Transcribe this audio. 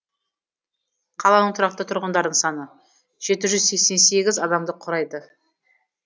қаланың тұрақты тұрғындарының саны жеті жүз сексен сегіз адамды құрайды